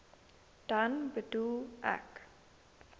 dan bedoel ek